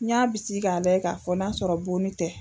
N y'a bisigi k'a layɛ k'a fɔ n'a sɔrɔ bonni tɛ